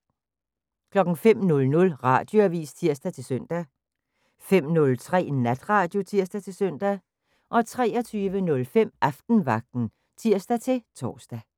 05:00: Radioavis (tir-søn) 05:03: Natradio (tir-søn) 23:05: Aftenvagten (tir-tor)